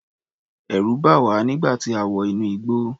Ẹ̀rù bà wá nígbà tí a wọ inú igbó.